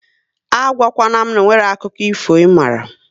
A gwa kwana m na onweghi akụkọ ifo ị mara